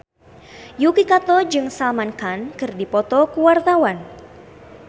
Yuki Kato jeung Salman Khan keur dipoto ku wartawan